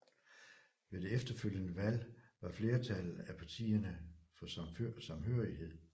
Ved det efterfølgende valg var flertallet af partierne for samhørighed